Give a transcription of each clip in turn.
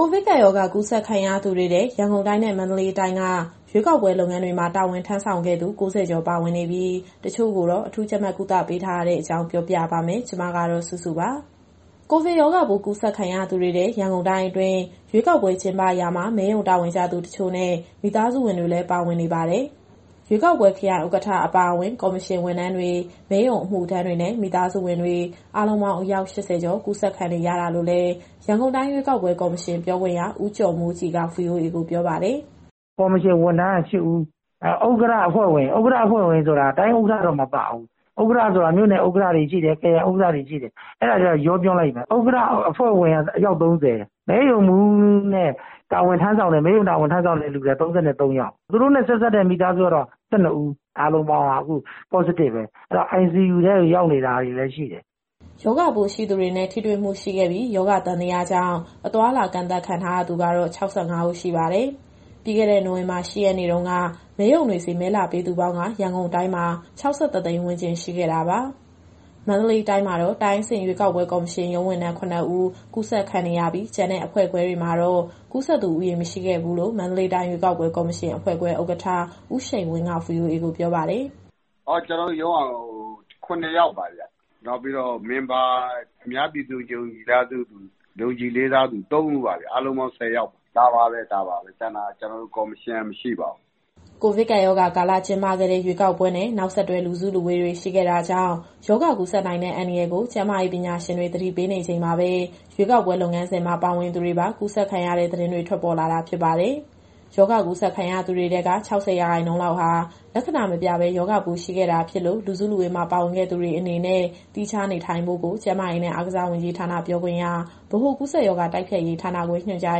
ကိုဗစ်ကပ်ရောဂါ ကူးစက်ခံရသူတွေထဲ ရန်ကုန်တိုင်းနဲ့ မန္တလေးတိုင်းက ရွေးကောက်ပွဲလုပ်ငန်းတွေမှာ တာဝန်ထမ်းဆောင်ခဲ့သူ ၉ဝ ကျော် ပါဝင်နေပြီး တချို့ကိုတော့ အထူးကြပ်မတ်ကုသပေးထားရတဲ့အကြောင်း ဗွီအိုအေမြန်မာပိုင်း သတင်းထောက် မစုစုက သတင်းပေးပို့ထားပါတယ်။ ကိုဗစ်ရောဂါပိုး ကူးစက်ခံရသူတွေထဲ ရန်ကုန်တိုင်းအတွင်း ရွေးကောက်ပွဲကျင်းပရာမှာ မဲရုံတာဝန်ကျသူတချို့နဲ့ မိသားစုဝင်တွေလည်း ပါဝင်နေပါတယ်။ ရွေးကောက်ပွဲခရိုင်ဥက္ကဋ္ဌ အပါအဝင် ကော်မရှင်ဝန်ထမ်းတွေ၊ မဲရုံအမှုထမ်းတွေနဲ့ မိသားစုဝင်တွေ အားလုံးပေါင်းအယောက် ၈၀ ကျော် ကူးစက်ခံခဲ့ရတာလို့လည်း ရန်ကုန်တိုင်းရွေးကောက်ပွဲ ကော်မရှင်ပြောခွင့်ရ ဦးကျော်မိုးကြည်က VOA ကိုပြောပါတယ်။ " ကော်မရှင်ဝန်ထမ်းက ၈ဦး၊ နောက် ဥက္ကဌနဲ့ အဖွဲ့ဝင်ဆိုတာ တိုင်းဥက္ကဌတော့ မပါဘူး။ ဥက္ကဌဆိုတာ မြို့နယ်နဲ့ ခရိုင်ဥက္ကဌတွေရှိတယ်။ ဥက္ကဌ - အဖွဲ့ဝင်က အယောက် ၃၀၊ မဲရုံမှူးနဲ့ မဲရုံတာဝန်ထမ်းဆောင်တဲ့သူတွေထဲက ၃၃ ယောက်၊ သူတို့နဲ့ဆက်စပ်တဲ့ မိသားစုကတော့ ၁၂ ဦး။ အားလုံးပေါင်းက အခု Positive ပဲ။ ICU ထဲကို ရောက်နေတာတွေလည်း ရှိတယ်။ " ရောဂါပိုးရှိသူတွေနဲ့ ထိတွေ့မှုရှိခဲ့ပြီး၊ ရောဂါသံသယကြောင့် အသွားအလာကန့်သတ်ခံထားရသူကတော့ ၆၅ ဦးရှိပါတယ်။ ပြီးခဲ့တဲ့ နိုဝင်ဘာ ၈ရက်နေ့တုန်းက မဲရုံတွေဆီ မဲလာပေးသူပေါင်းက ရန်ကုန်တိုင်းမှာ ၆၁ သိန်းဝန်းကျင် ရှိခဲ့တာပါ။ တိုင်းအဆင့်ရွေးကောက်ပွဲကော်မရှင် ရုံးဝန်ထမ်း ၇ဦး ကူးစက်ခံနေရပြီး၊ ကျန်တဲ့အဖွဲ့ခွဲတွေမှာတော့ ကူးစက်သူဦးရေ မရှိခဲ့ဘူးလို့ မန္တလေးတိုင်းရွေးကောက်ပွဲ ကော်မရှင်အဖွဲ့ခွဲဥက္ကဌ ဦးရှိန်ဝင်းက VOA ကိုပြောပါတယ်။ " ကျနော်တို့ရုံးက ၇ယောက်ပါဗျ။ နောက် အများပြည်သူ ယုံကြည်လေးစားသူ ၃ဦးပါဗျ။ အားလုံးပေါင်း ၁၀ ယောက် ဒါပါပဲ။ ကျန်တာ ကျနော်တို့ကော်မရှင်က မရှိပါဘူး။ " ကိုဗစ်ကပ်ရောဂါကာလ ကျင်းပခဲ့တဲ့ ရွေးကောက်ပွဲနဲ့ နောက်ဆက်တွဲ လူစုလူဝေးတာတွေ ရှိခဲ့တာကြောင့် ရောဂါကူးစက်နိုင်တဲ့ အန္တရာယ်ကို ကျန်းမာရေး ပညာရှင်တွေ သတိပေးနေချိန်မှာပဲ ရွေးကောက်ပွဲ လုပ်ငန်းစဉ်မှာ ပါဝင်သူတွေပါ ကူးစက်ခံရတဲ့ သတင်းတွေ ထွက်ပေါ်လာတာ ဖြစ်ပါတယ်။ ရောဂါကူးစက်ခံရသူတွေထဲက ၆၀ ရာခိုင်နှုန်းလောက်ဟာ လက္ခဏာမပြပဲ ရောဂါပိုးရှိနေခဲ့တာဖြစ်လို့ လူစုလူဝေးမှာပါဝင်ခဲ့သူတွေအနေနဲ့ သီးခြားနေထိုင်ဖို့ကို ကျန်းမာရေးနဲ့အားကစားဝန်ကြီးဌာန ပြောခွင့်ရ၊ ဗဟိုကူးစက်ရောဂါ တိုက်ဖျက်ရေးဌာနခွဲ ညွှန်ကြား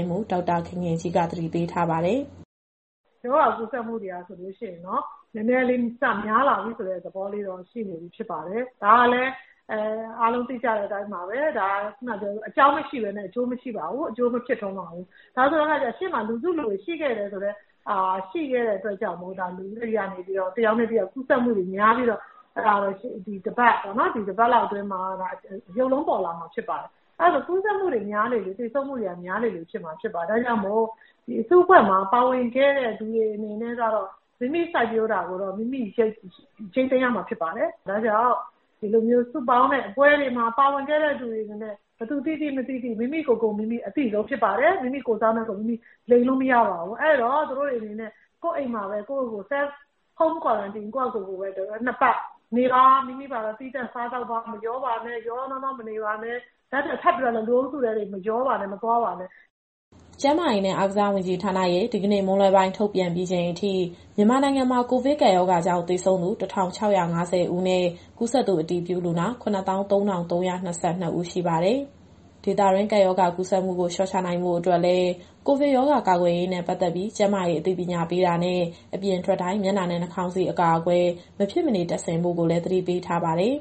ရေးမှူး ဒေါက်တာခင်ခင်ကြီးက သတိပေးပါတယ်။ " ရောဂါကူးစက်မှုတွေက နည်းနည်းလေးများလာတဲ့ သဘောရှိပါတယ်။ ဒါကလည်း အားလုံးသိကြပြီးတဲ့အတိုင်းပါပဲ၊ အကြောင်းမရှိပဲနဲ့ အကျိုးမဖြစ်ပါဘူး။ ရှေ့မှာ လူစုလူဝေးတွေရှိခဲ့တော့ တယောက်နဲ့တယောက် ကူးစက်မှုများပြီးတော့ ဒီတပတ်လောက်အတွင်းမှာ ရုပ်လုံးပေါ်လာမှာဖြစ်ပါတယ်။ ကူးစက်မှုတွေများလေလေ သေဆုံးမှုတွေများမှာဖြစ်ပါတယ်။ ဒါကြောင့်မို့ ဒီအစုအဖွဲ့မှာ ပါဝင်ခဲ့သူတွေအနေနဲ့ကတော့ မိမိစိုက်ပျိုးတာကိုတော့ မိမိရိတ်သိမ်းရမှာ ဖြစ်ပါတယ်။ ဒါကြောင့် ဒီလိုစုပေါင်းတဲ့ပွဲတွေမှာပါဝင်ခဲ့တဲ့ သူတွေအနေနဲ့ ဘယ်သူသိသိ မသိသိ၊ မိမိကိုယ်ကိုယ် အသိဆုံးဖြစ်ပါတယ်။ အဲတော့ သူတို့တွေအနေနဲ့ ကိုယ့်ရဲ့အိမ်မှာပဲ Self Quarantine ၂ပတ်နေပါ။ မိမိဘာသာ သီးသန့်စားသောက်ပါ၊ ဘယ်သူနဲ့မှ ရောရောနှောနှောမနေပါနဲ့၊ ထပ်ပြီးတော့လည်း လူအုပ်စုထဲ မသွားပါနဲ့။ " ကျန်းမာရေးနဲ့ အားကစားဝန်ကြီးဌာနရဲ့ ဒီကနေ့မွန်းလွဲပိုင်း ထုတ်ပြန်ပြီးချိန်အထိ မြန်မာနိုင်ငံမှာ ကိုဗစ်ကပ်ရောဂါကြောင့် သေဆုံးသူ ၁,၆၅၀ ဦးနဲ့ ကူးစက်သူအတည်ပြုလူနာ ၇၃,၃၂၂ ဦးရှိပါတယ်။ ဒေသတွင်း ကပ်ရောဂါကူးစက်မှုကို လျှော့ချနိုင်ဖို့အတွက်လည်း ကိုဗစ်ရောဂါကာကွယ်ရေးနဲ့ ပတ်သက်ပြီး ကျန်းမာရေးအသိပညာပေးတာနဲ့ အပြင်ထွက်တိုင်း မျက်နှာနဲ့ နှာခေါင်စည်း အကာအကွယ် မဖြစ်မနေ တပ်ဆင်ဖို့ကိုလည်း သတိပေးထားပါတယ်။